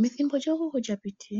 Methimbo lyookuku lya piti